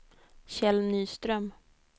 Kjell Nyström